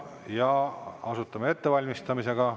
Ja alustame ettevalmistamisega.